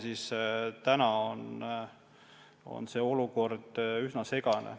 Nii et olukord on üsna segane.